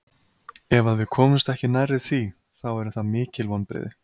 Ef að við komumst ekki nærri því, þá eru það mikil vonbrigði.